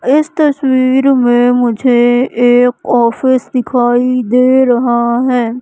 इस तस्वीर में मुझे एक ऑफिस दिखाई दे रहा है।